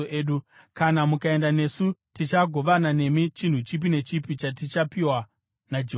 Kana mukaenda nesu, tichagovana nemi chinhu chipi nechipi chatichapiwa naJehovha.”